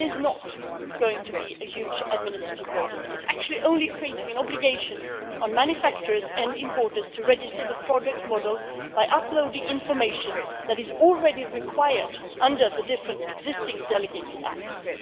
It is not going to be a huge administrative burden. It is actually only creating an obligation on manufacturers and importers to register the product model by uploading information that is already required under the different existing delegated acts.